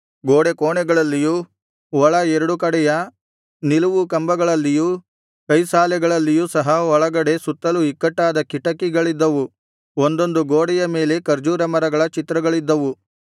ಗೋಡೆ ಕೋಣೆಗಳಲ್ಲಿಯೂ ಒಳ ಎರಡು ಕಡೆಯ ನಿಲುವು ಕಂಬಗಳಲ್ಲಿಯೂ ಕೈಸಾಲೆಗಳಲ್ಲಿಯೂ ಸಹ ಒಳಗಡೆ ಸುತ್ತಲೂ ಇಕ್ಕಟಾದ ಕಿಟಕಿಗಳಿದ್ದವು ಒಂದೊಂದು ಗೋಡೆಯ ಮೇಲೆ ಖರ್ಜೂರ ಮರಗಳ ಚಿತ್ರಗಳಿದ್ದವು